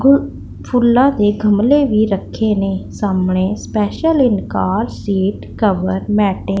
ਫੁੱਲਾਂ ਤੇ ਗਮਲੇ ਵੀ ਰੱਖੇ ਨੇ ਸਾਹਮਣੇ special in car seat cover mat --